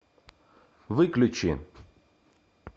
выключи